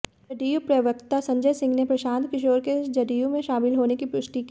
जदयू प्रवक्ता संजय सिंह ने प्रशांत किशोर के जदयू में शामिल होने की पुष्टि की